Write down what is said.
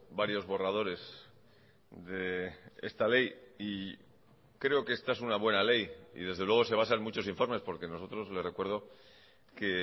varios borradores de esta ley y creo que esta es una buena ley y desde luego se basa en muchos informes porque nosotros le recuerdo que